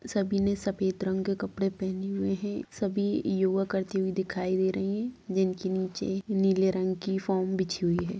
सभी ने सफेद रंग के कपड़े पहने हुए हैं सभी योगा करती हुए दिखाई दे रही हैं जिनके नीचे नीले रंग की फोम बिछी हुई है।